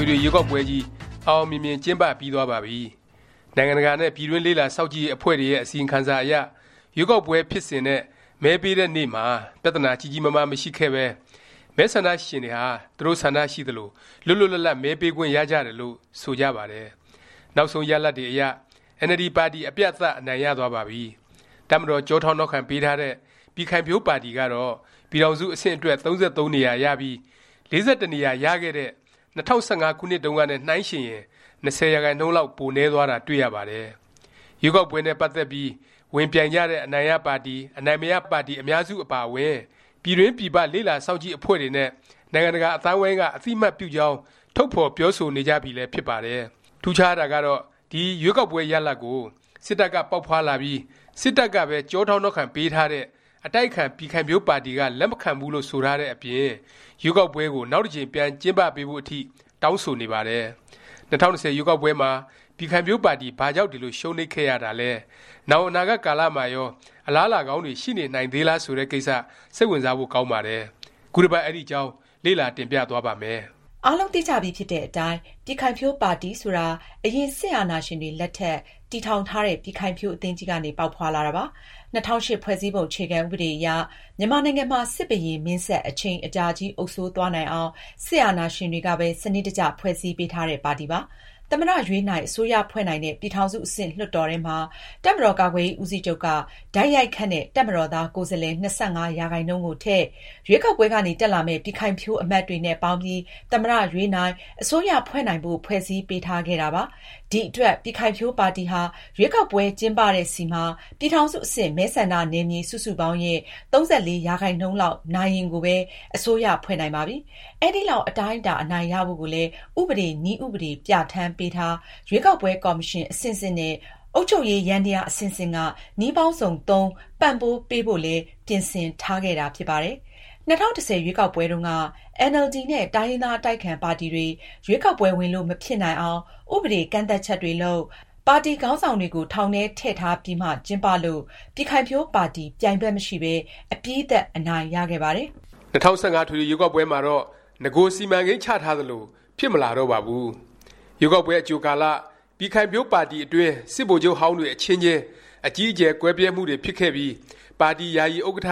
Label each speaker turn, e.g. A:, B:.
A: ွေထွေ ရွေးကောက်ပွဲကြီး အောင်အောင်မြင်မြင် ကျင်းပပြီးသွားပါပြီ။ နိုင်ငံတကာနဲ့ ပြည်တွင်း လေ့လာစောင့်ကြည့်ရေး အဖွဲ့တွေရဲ့ အစီရင်ခံစာအရ ရွေးကောက်ပွဲ ဖြစ်စဉ်နဲ့ မဲပေးတဲ့နေ့မှာ ပြသနာကြီးကြီးမားမား မရှိခဲ့ပဲ မဲဆန္ဒရှင်တွေဟာ သူတို့ဆန္ဒရှိသလို လွတ်လွတ်လပ်လပ် မဲပေးခွင့်ရကြတယ်လို့ ဆိုကြပါတယ်။ နောက်ဆုံးရလာဒ်တွေအရ အင်န်အယ်လ်ဒီ ပါတီ အပြတ်အသတ် အနိုင်ရသွားပါပြီ။ တပ်မတော် ကျောထောက်နောက်ခံ ပေးထားတဲ့ ပြည်ခိုင်ဖြိုးပါတီကတော့ ပြည်ထောင်စု အဆင့်အတွက် ၃၃ နေရာရပြီး ၄၁ နေရာ ရခဲ့တဲ့ ၂၀၁၅ ခုနှစ်တုန်းကနဲ့ နှိုင်းယှဉ်ရင် ၂၀% လောက် ပိုနည်းသွားတာ တွေ့ရပါတယ်။ ရွေးကောက်ပွဲနဲ့ ပတ်သက်ပြီး ဝင်ပြိုင်ကြတဲ့ အနိုင်ရပါတီ၊ အနိုင်မရ ပါတီ အများစု အပါအဝင် ပြည်တွင်းပြည်ပ လေ့လာစောင့်ကြည့် အဖွဲ့တွေနဲ့ နိုင်ငံတကာ အသိုင်းအဝိုင်းက အသိအမှတ်ပြုကြောင်း ထုတ်ဖော်ပြောဆိုနေကြပြီလည်း ဖြစ်ပါတယ်။ ထူးခြားတာကတော့ ဒီ ရွေးကောက်ပွဲ ရလာဒ်ကို စစ်တပ်က ပေါက်ဖွားလာပြီး စစ်တပ်ကပဲ ကျောထောက်နောက်ခံပေးထားတဲ့ အတိုက်အခံ ပြည်ခိုင်ဖြိုးပါတီက လက်မခံဘူးလို့ ဆိုထားတဲ့အပြင် ရွေးကောက်ပွဲကို နောက်တစ်ကြိမ် ပြန်ကျင်းပပေးဖို့ အထိ တောင်းဆိုနေပါတယ်။ ၂၀၂၀ ရွေးကောက်ပွဲမှာ ပြည်ခိုင်ဖြိုးပါတီ ဘာကြောင့် ဒီလို ရှုံးနိမ့်ခဲ့ရသလဲ၊ နောင် အနာဂတ် ကာလမှာရော အလားအလာကောင်းတွေ ရှိနေနိုင်သေးလား ဆိုတဲ့ ကိစ္စ၊ စိတ်ဝင်စားဖို့ ကောင်းပါတယ်။ ခုတစ်ပတ် အဲဒီအကြောင်း လေ့လာ တင်ပြသွားပါ့မယ်။
B: အားလုံးသိကြပြီဖြစ်တဲ့ အတိုင်း ပြည်ခိုင်ဖြိုးပါတီ ဆိုတာ အရင် စစ်အာဏာရှင်တွေ လက်ထက် တည်ထောင်ထားတဲ့ ပြည်ခိုင်ဖြိုး အသင်းကြီးကနေ ပေါက်ဖွားလာတာပါ။ ၂၀၀၈ ဖွဲ့စည်းပုံ အခြေခံ ဥပဒေအရ မြန်မာနိုင်ငံမှာ စစ်ဘုရင်မင်းဆက် အချိန် အကြာကြီး အုပ်စိုးသွားနိုင်အောင် စစ်အာဏာရှင်တွေကပဲ စနစ်တကျ ဖွဲ့စည်းပေးထားတဲ့ ပါတီပါ။ သမ္မတ ရွေးနိုင်၊ အစိုးရဖွဲ့နိုင်တဲ့ ပြည်ထောင်စု အဆင့် လွှတ်တော်ထဲမှာ တပ်မတော်ကာကွယ်ရေး ဦးစီးချုပ်က တိုက်ရိုက်ခန့်တဲ့ တပ်မတော်သား ကိုယ်စားလှယ် ၂၅% ကိုထည့်၊ ရွေးကောက်ပွဲကနေ တက်လာမယ့် ပြည်ခိုင်ဖြိုး အမတ်တွေနဲ့ ပေါင်းပြီး သမ္မတရွေးနိုင်၊ အစိုးရဖွဲ့နိုင်ဖို့ ဖွဲ့စည်းပေးထားခဲ့တာပါ။ ဒီ အတွက် ပြည်ခိုင်ဖြိုးပါတီဟာ ရွေးကောက်ပွဲကျင်းပတဲ့ဆီမှာ ပြည်ထောင်စု အဆင့် မဲဆန္ဒနယ်မြေ စုစုပေါင်းရဲ့ ၃၄% လောက် နိုင်ရင်ကိုပဲ အစိုးရဖွဲ့နိုင်ပါပြီ။ အဲဒီလောက် အတိုင်းအတာ အနိုင်ရဖို့ကိုလည်း ဥပဒေ၊ နည်းဥပဒေ ပြဌာန်းပေးတာ၊ ရွေးကောက်ပွဲ ကော်မရှင် အဆင့်ဆင့်နဲ့ အုပ်ချုပ်ရေး ယန္တယား အဆင့်ဆင့်က နည်းပေါင်းစုံသုံး ပံ့ပိုးပေးဖို့လည်း ပြင်ဆင်ထားခဲ့တာ ဖြစ်ပါတယ်။ ၂၀၁၀ ရွေးကောက်ပွဲတုန်းကတော့ အင်န်အယ်လ်ဒီ နဲ့ တိုင်းရင်းသား အတိုက်အခံပါတီတွေ ရွေးကောက်ပွဲ ဝင်လို့ မဖြစ်နိုင်အောင် ဥပဒေ ကန့်သတ်ချက်တွေလုပ်၊ ပါတီခေါင်းဆောင်တွေကို ထောင်ထဲ ထည့်ထားပြီးမှ ကျင်းပလို့ ပြည်ခိုင်ဖြိုးပါတီ ပြိုင်ဘက် မရှိပဲ အပြတ်အသတ် အနိုင်ရခဲ့
A: ပါတယ်။ ၂၀၁၅ အထွေထွေ ရွေးကောက်ပွဲမှာတော့ နဂို စီမံကိန်းချထားသလို ဖြစ်မလာတော့ပါဘူး။ ရွေးကောက်ပွဲ အကြိုကာလ ပြည်ခိုင်ဖြိုးပါတီအတွင်း စစ်ဗိုလ်ချုပ်ဟောင်းတွေ အချင်းချင်း အကြီးအကျယ် ကွဲပြဲမှုတွေဖြစ်ခဲ့ပြီး ပါတီ ယာယီဥက္ကဌ